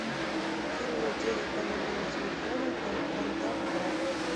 перевод денег по номеру телефона контакт брат